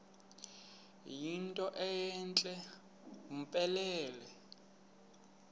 yinto entle mpelele